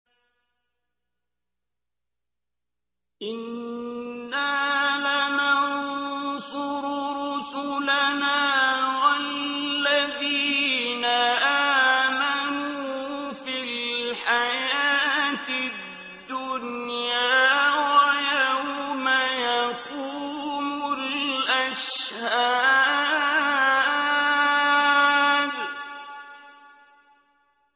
إِنَّا لَنَنصُرُ رُسُلَنَا وَالَّذِينَ آمَنُوا فِي الْحَيَاةِ الدُّنْيَا وَيَوْمَ يَقُومُ الْأَشْهَادُ